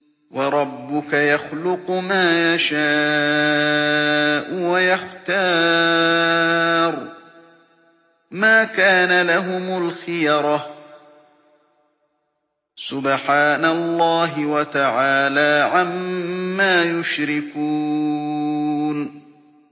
وَرَبُّكَ يَخْلُقُ مَا يَشَاءُ وَيَخْتَارُ ۗ مَا كَانَ لَهُمُ الْخِيَرَةُ ۚ سُبْحَانَ اللَّهِ وَتَعَالَىٰ عَمَّا يُشْرِكُونَ